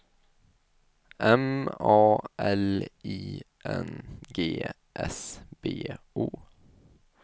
M A L I N G S B O